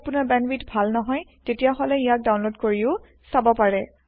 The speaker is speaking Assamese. যদি আপোনাৰ বেন্দৱিথ ভাল নহয় তেতিয়াহলে ইয়াক ডাওনলোদ কৰিও চাব পাৰে